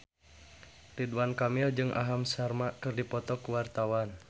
Ridwan Kamil jeung Aham Sharma keur dipoto ku wartawan